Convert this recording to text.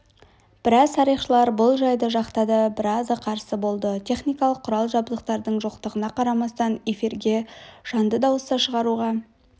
біраз тарихшылар бұл жайды жақтады біразы қарсы болды техникалық құрал-жабдықтардың жоқтығына қарамастан эфирге жанды дауыс шығаруға